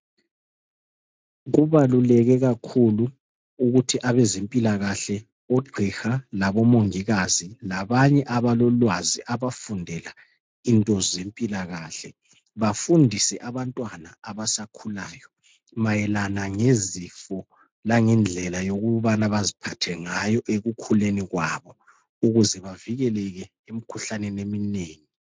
Kubaluleke kakhulu ukuthi abezempilakahle , OGqiha laboMongikazi labanye abalolwazi abafundela into zempilakahle bafundise abantwana abasakhulayo mayelana ngezifo langendlela yokubana baziphathe ngayo ekukhuleni kwabo , ukuze bavikeleke emikhuhlaneni eminengi.